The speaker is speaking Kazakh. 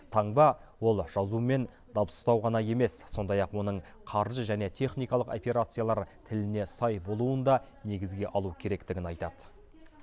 таңба ол жазу мен дыбыстау ғана емес сондай ақ оның қаржы және техникалық операциялар тіліне сай болуын да негізге алу керектігін айтады